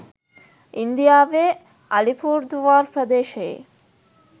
ඉන්දියාවේ අලිපුර්දුවාර් ප්‍රදේශයේ